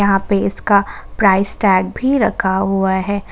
यहां पे इसका प्राइस टैग भी रखा हुआ है।